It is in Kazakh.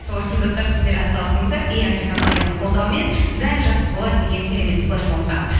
сол үшін достар сіздер атсалысыңыздар компаниясының қолдауымен бәрі жақсы болады деген керемет флешмобқа